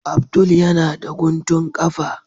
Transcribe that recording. Abdul yana da guntun kafa.